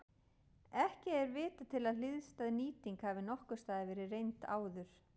Ekki er vitað til að hliðstæð nýting hafi nokkurs staðar verið reynd áður.